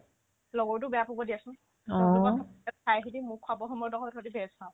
লগৰতোই বেয়া পাব দিয়াচোন তাইহতে মোক খোৱাব সময়ত অকল সিহতে ভেজ খাও